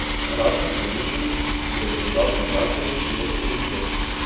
Ratko Stojiljković jo je prodal Domžalčanu Jožetu Rukšetu.